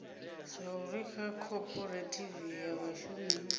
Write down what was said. zwauri kha khophorethivi ya vhashumi